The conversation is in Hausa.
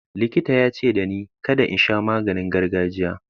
Likita ya ce dani kada in sha maganin gargajiya.